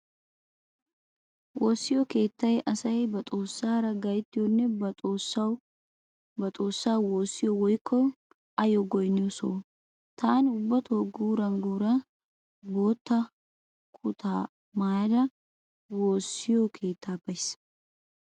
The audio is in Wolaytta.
Woossiyo keettay asay ba xoossaara gayttiyonne ba xoossaa woossiyo woykko ayyo goynniyo soho. Taani ubbato guuran guuran bootta kuttaa maayada woossiyo keettaa bays.